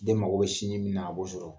Den mago be sinji min na, a b'o sɔrɔ.